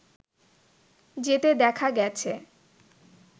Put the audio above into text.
যেতে দেখা গেছে